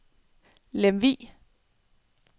Lemvug